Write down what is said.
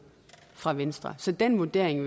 fra venstre så den vurdering